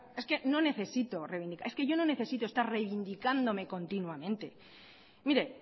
porque es que no necesito reivindicar es que yo no necesito estar reivindicándome continuamente mire